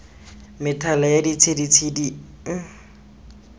methalethale ya ditshedi e e